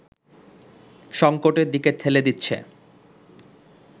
সংকটের দিকে ঠেলে দিচ্ছে